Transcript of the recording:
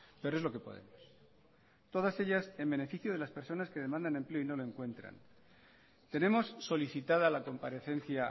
pero es lo que podemos todas ellas en beneficio de las personas que demandan empleo y no lo encuentran tenemos solicitada la comparecencia